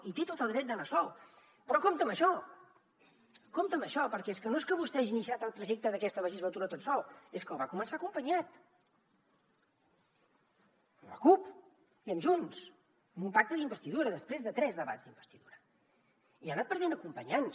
i té tot el dret d’anar sol però compte amb això compte amb això perquè és que no és que vostè hagi iniciat el trajecte d’aquesta legislatura tot sol és que el va començar acompanyat amb la cup i amb junts amb un pacte d’investidura després de tres debats d’investidura i ha anat perdent acompanyants